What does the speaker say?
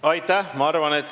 Aitäh!